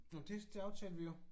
Nå men det det aftalte vi jo